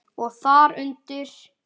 Og þar undir